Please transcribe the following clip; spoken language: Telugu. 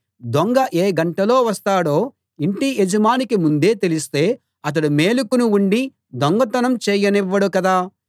దొంగ ఏ గంటలో వస్తాడో ఇంటి యజమానికి ముందే తెలిస్తే అతడు మేలుకుని ఉండి దొంగతనం చేయనివ్వడు కదా